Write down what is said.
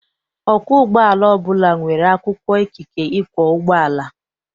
Ọkwọ ụgbọala ọbụla nwere akwụkwọ ikike ịkwọ ụgbọala.